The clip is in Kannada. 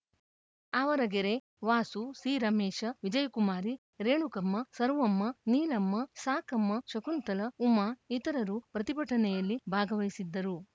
ಆವರಗೆರೆ ವಾಸು ಸಿರಮೇಶ ವಿಜಯಕುಮಾರಿ ರೇಣುಕಮ್ಮ ಸರ್ವಮ್ಮ ನೀಲಮ್ಮ ಸಾಕಮ್ಮ ಶಕುಂತಲ ಉಮಾ ಇತರರು ಪ್ರತಿಭಟನೆಯಲ್ಲಿ ಭಾಗವಹಿಸಿದ್ದರು